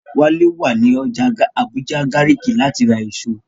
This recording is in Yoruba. Wálé wà ní ọjà Àbújá Gàrìkí láti ra èso